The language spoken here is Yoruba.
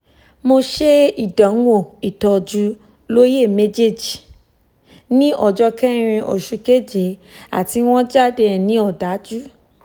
mo ṣe ìdánwò ìtọjú lóyè mejeji ní ọjọ́ kẹrin oṣù keje àti wọ́n jáde ẹni òdájú